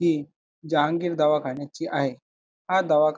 हि जहांगीर दवाखाण्याची आहे हा दवाखा--